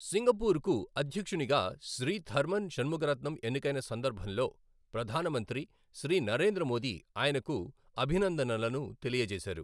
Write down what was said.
Singapore కు అధ్యక్షునిగా Shri Tharman Shanmugaratnam ఎన్నికైన సందర్భం లో ప్రధాన మంత్రి శ్రీ నరేంద్ర మోదీ ఆయనకు అభినందనలను తెలియ జేశారు.